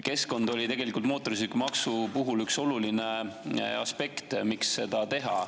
Keskkond oli tegelikult mootorsõidukimaksu puhul üks oluline aspekt.